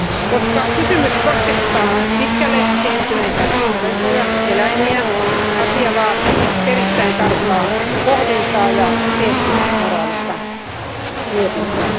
Koska kysymys koskettaa pitkälle kehittyneitä olentoja, eläimiä, asia vaatii erittäin tarkkaa pohdintaa ja eettis moraalista mietintää.